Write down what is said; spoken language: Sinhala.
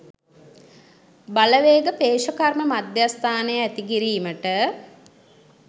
බලවේග පේෂකර්ම මධ්‍යස්ථානය ඇති කිරීමට